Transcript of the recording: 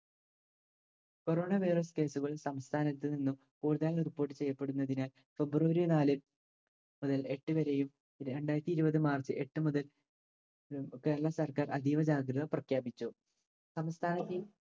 corona virus case കൾ സംസ്ഥാനത്ത് നിന്നും കൂടുതലായി report ചെയ്യപ്പെടുന്നതിനാൽ ഫെബ്രുവരി നാല് മുതൽ എട്ട് വരെയും രണ്ടായിരത്തി ഇരുപത് മാർച്ച് എട്ട് മുതൽ കേരള സർക്കാർ അതീവ ജാഗ്രത പ്രഖ്യാപിച്ചു. സംസ്ഥാനത്തെ